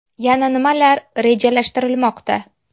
Yana nimalar rejalashtirilmoqda?